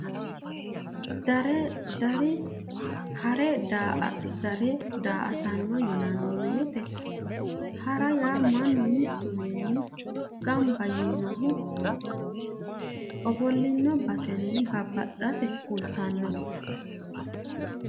Dare ha're daa"attano yinnanni woyte hara yaa mannu mituwiini gamba yiinohu ofollino baseni babbaxase kultano.